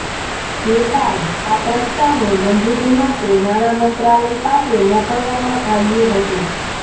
જે બાદ આ પ્રસ્તાવને મંજૂરી માટે નાણા મંત્રાલય પાસે મોકલવામાં આવ્યું હતું